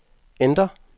enter